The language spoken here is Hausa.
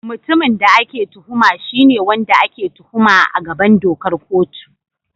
Mutumin da ake tuhuma shi ne wanda ake tuhuma a gaban dokar kotu.